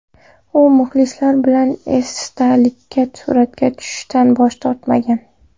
U muxlislari bilan esdalikka suratga tushishdan bosh tortmagan.